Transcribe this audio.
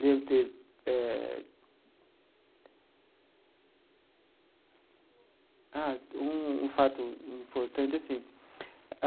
Lembro de ter eh... Ah, um um fato importante assim.